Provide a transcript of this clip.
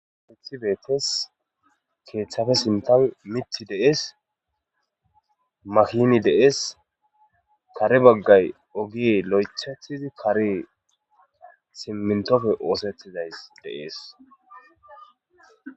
Kethi betes kethape sinten mithi de'es makini de'es kare bagay loytetidi karey simintomi osetidaysi de'es .